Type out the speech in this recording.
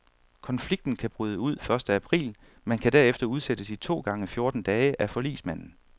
Konflikten kan bryde ud første april, men kan derefter udsættes i to gange fjorten dage af forligsmanden.